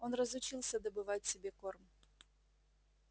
он разучился добывать себе корм